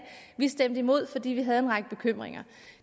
vi stemte imod fordi vi havde en række bekymringer